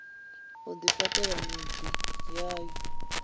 u ḓifha ṱela miḓi yayo